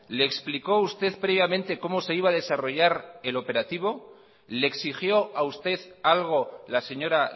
le explicó usted previamente cómo se iba a desarrollar el operativo le exigió a usted algo la señora